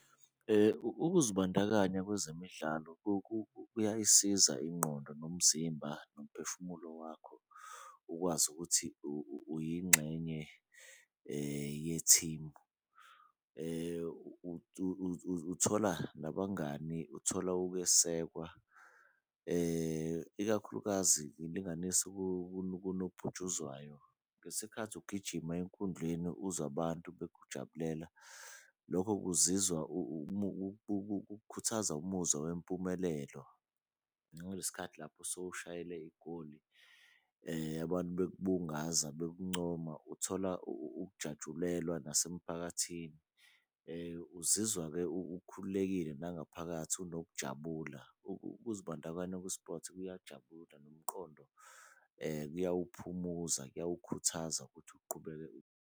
Ukuzibandakanya kwezemidlalo kuyayisiza ingqondo nomzimba nomphefumulo wakho ukwazi ukuthi uyingxenye yethimu. Uthola nabangani, uthola ukwesekwa. Ikakhulukazi ngilinganise kunobhutshuzwayo ngesikhathi ugijima enkundleni uzwa abantu bekujabulela, lokho kuzizwa ukukhuthaza umuzwa wempumelelo. Nangale sikhathi lapho sewushayele igoli abantu bekubungaza bekuncoma uthola ukujatshulelwa nasemphakathini. Uzizwa-ke ukhululekile nangaphakathi unokujabula ukuzibandakanya kwi-sport kuyajabula nomqondo kuyawuphumuza kuyawukhuthaza ukuthi uqhubeke.